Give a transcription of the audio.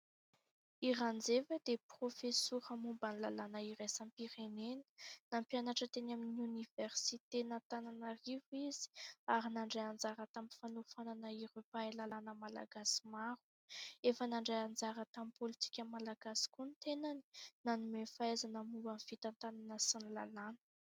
I Ranjeva dia profesora momba ny lalàna irasam- pirenena. Nampianatra teny amin'ny oniversiten' Antananarivo izy ary nandray anjara tamin'ny fanofanana ireo mpahay lalàna malagasy maro efa nandray anjara tamin'ny politika malagasy koa ny tenany. Nanome fahaizana momban' ny fitantanana sy ny lalàna.